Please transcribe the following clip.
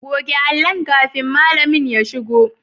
Goge allon kafin malami ya shigo.